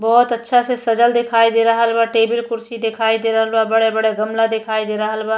बहोत अच्छा से सजल दिखाई दे रहल बा टेबल कुर्सी दिखाई दे रहल बा बड़े बड़े गमला दिखाई दे रहल बा।